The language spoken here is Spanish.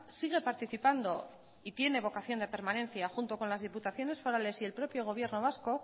sigue participando y tiene vocación de permanencia junto con las diputaciones forales y el propio gobierno vasco